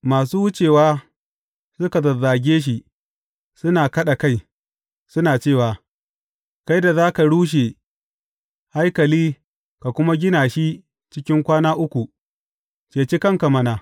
Masu wucewa, suka zazzage shi, suna kaɗa kai, suna cewa, Kai da za ka rushe haikali, ka kuma gina shi cikin kwana uku, ceci kanka mana!